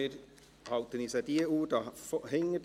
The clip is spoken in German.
Wir halten uns an die Uhr hier hinten.